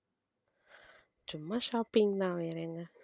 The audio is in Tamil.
சும்மா shopping தான் வேற எங்க